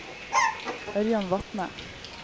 Ørjan Vatne